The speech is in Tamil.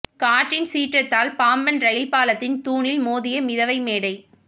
காற்றின் சீற்றத்தால் பாம்பன் ரயில் பாலத்தின் தூணில் மோதிய மிதவை மேடை